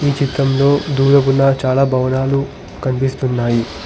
ఈ చిత్రంలో దూరపు నా చాలా భవనాలు కనిపిస్తున్నాయి.